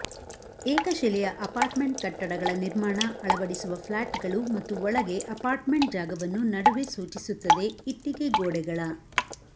ಏಕಶಿಲೆಯ apartment ಕಟ್ಟಡಗಳ ನಿರ್ಮಾಣ ಅಳವಡಿಸುವ ಫ್ಲಾಟ್ಗಳು ಮತ್ತು ಒಳಗೆ ಅಪಾರ್ಟ್ಮೆಂಟ್ ಜಾಗವನ್ನು ನಡುವೆ ಸೂಚಿಸುತ್ತದೆ ಇಟ್ಟಿಗೆ ಗೋಡೆಗಳ